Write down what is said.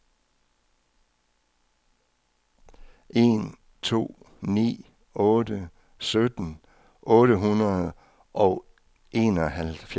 en to ni otte sytten otte hundrede og enoghalvfjerds